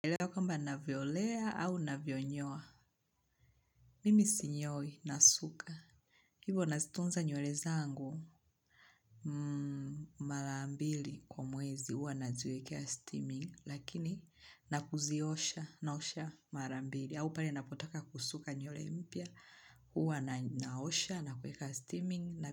Elewa kwamba navyolea au navyonyoa. Mimi sinyoi nasuka. Hivo nazitunza nywele zangu. Mmm, mara mbili kwa mwezi huwa naziwekea steaming. Lakini, nakuziosha, naosha mara mbili. Au pale napotaka kusuka nywele mpya. Huwa naosha, na kueka steaming.